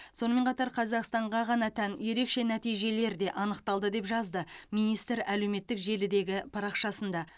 сонымен қатар қазақстанға ғана тән ерекше нәтижелер де анықталды деп жазды министр әлеуметтік желідегі парақшасында